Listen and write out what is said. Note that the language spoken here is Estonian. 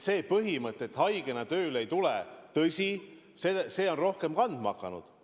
See põhimõte, et haigena tööle ei tule, on tõesti rohkem kehtima hakanud.